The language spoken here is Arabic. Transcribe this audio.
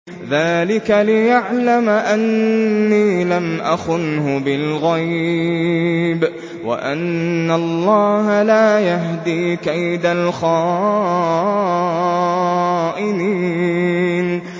ذَٰلِكَ لِيَعْلَمَ أَنِّي لَمْ أَخُنْهُ بِالْغَيْبِ وَأَنَّ اللَّهَ لَا يَهْدِي كَيْدَ الْخَائِنِينَ